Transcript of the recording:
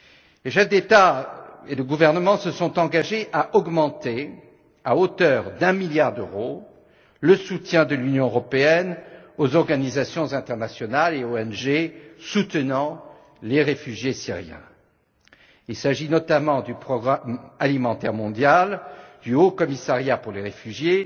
Les chefs d'État ou de gouvernement se sont engagés à augmenter, à hauteur de 1 milliard d'euros, le soutien de l'Union européenne aux organisations internationales et ONG soutenant les réfugiés syriens. Il s'agit notamment du Programme alimentaire mondial, du Haut Commissariat des Nations unies pour les réfugiés